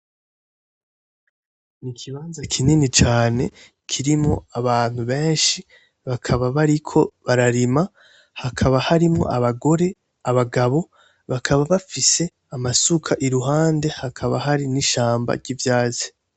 Ikibanza kinini cane kirimwo abantu benshi bakaba bariko bararima hakaba harimwo abagore ,abagabo bakaba bafise amasuka iruhande hakaba hari n'ishamba ry'ivyatsi.